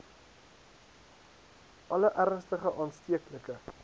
alle ernstige aansteeklike